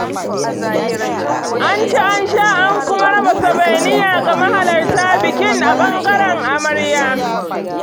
an ci an sha an kuma raba sourvenir ga mahalarta biki a ɓangaren amarya.